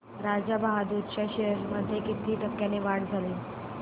राजा बहादूर च्या शेअर्स मध्ये किती टक्क्यांची वाढ झाली